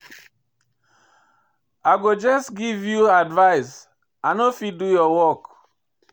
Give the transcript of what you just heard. I go just give you advice, I no fit do your work.